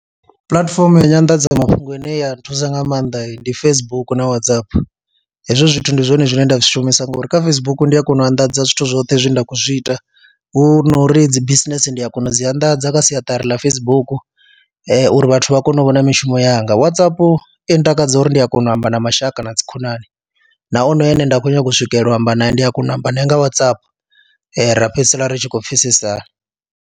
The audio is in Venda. Platform ya nyanḓadzamafhungo ine ya nthusa nga maanḓa ndi Facebook na Whatsapp, hezwo zwithu ndi zwone zwine nda zwi shumisa ngori kha Facebook ndi a kona u anḓadza zwithu zwoṱhe zwe nda khou zwi ita, hu no uri dzi bisinese ndi a kona u dzi anḓadza kha siaṱari ḽa Facebook uri vhathu vha kone u vhona mishumo yanga. Whatsapp i ntakadza uri ndi a kona u amba na mashaka na dzikhonani na onoyo ane nda khou nyanga u swikelela u amba naye ndi a kona u amba naye nga Whatsapp ra fhedzisela ri tshi khou pfhesesana.